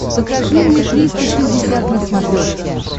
покажи мне триста шестьдесят на смотрешке